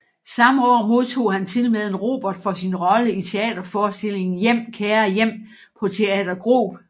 Samme år modtog han tilmed en Reumert for sin rolle i teater forestillingen Hjem kære hjem på Teater Grob